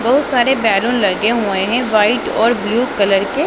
बहुत सारे बैलून लगे हुए हैं व्हाइट और ब्लू कलर के।